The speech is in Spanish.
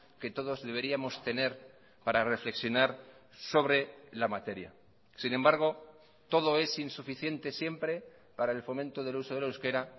que todos deberíamos tener para reflexionar sobre la materia sin embargo todo es insuficiente siempre para el fomento del uso del euskera